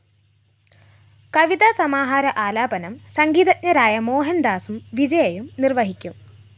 കവിതാ സമാഹാര ആലാപനം സംഗീതജ്ഞരായ മോഹന്‍ദാസും വിജയയും നിര്‍വഹിക്കും